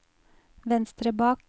venstre bak